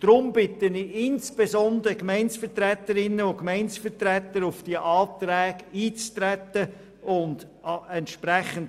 Deshalb bitte ich insbesondere die Gemeindevertreterinnen und Gemeindevertreter auf diese Anträge einzutreten und sie anzunehmen.